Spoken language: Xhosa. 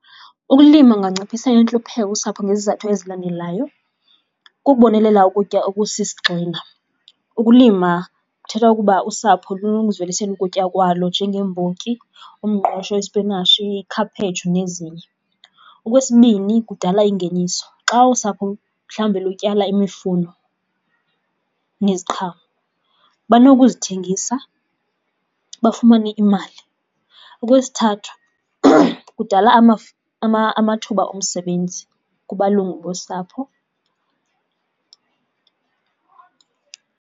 Ukulima kunganciphisa intlupheko usapho ngezizathu ezilandelayo, kukubonelela ukutya okusisigxina. Ukulima kuthetha ukuba usapho lunokuzivelisela ukutya kwalo njengembotyi, umngqusho, ispinatshi, ikhaphetshu nezinye. Okwesibini, kudala ingeniso. Xa usapho mhlawumbe lutyala imifuno neziqhamo banokuzithengisa bafumane imali. Okwesithathu, kudala amathuba omsebenzi kubalungu bosapho.